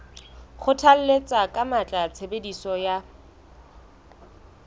kgothalletsa ka matla tshebediso ya